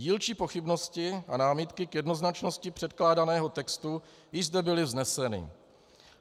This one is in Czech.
Dílčí pochybnosti a námitky k jednoznačnosti předkládaného textu již zde byly vzneseny.